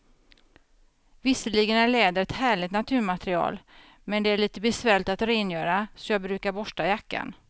Visserligen är läder ett härligt naturmaterial, men det är lite besvärligt att rengöra, så jag brukar borsta jackan.